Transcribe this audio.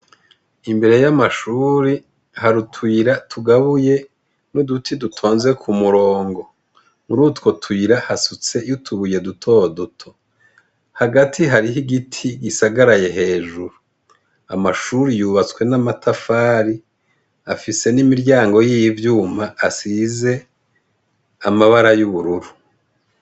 Imbere y'amashure hari utuyira tugabuye n'uduti dutonze k'umurongo, murutwo tuyira hasutseyo utubuye duto duto hagati hariho igiti gisagaraye hejuru, amashure yubatswe n'amatafari, afise n'imiryango y'ivyuma asize amabara y'ubururu.